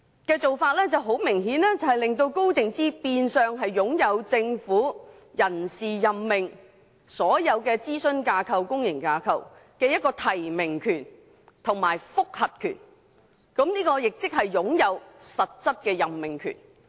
這種做法明顯令高靜芝變相擁有政府所有諮詢架構和公營架構在人事任命方面的提名權及覆核權，亦即擁有實質任命權。